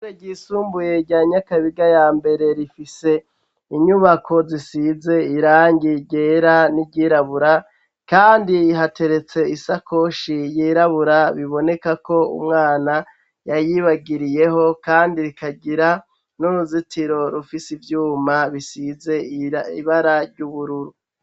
Ishure ryisumbuye rya nyakabiga ya mbere, rifise inyubako zisize irangi ryera n'iryirabura kandi hateretse isakoshi yirabura, biboneka ko umwana yayibagiriyeho, kandi rikagira n'uruzitiro rufise ivyuma bisize ibara ry'ubururu.